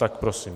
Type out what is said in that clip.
Tak prosím.